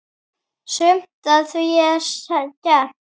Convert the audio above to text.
Sumt af því er skemmt.